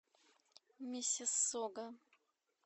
миссиссога